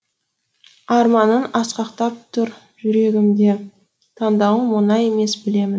арманым асқақтап тұр жүрегімде таңдауым оңай емес білемін бе